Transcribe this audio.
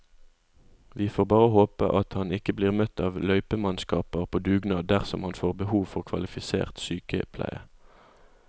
Vi får bare håpe at han ikke blir møtt av løypemannskaper på dugnad dersom han får behov for kvalifisert sykepleie.